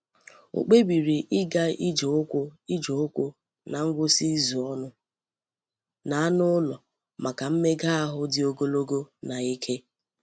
O kpebiri ịga ije ụkwụ ije ụkwụ na ngwụsị izu ọnụ na anụ ụlọ maka mmega ahụ dị ogologo na ike.